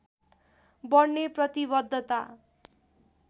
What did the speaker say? बढ्ने प्रतिवद्धता